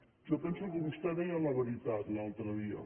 jo penso que vostè deia la veritat l’altre dia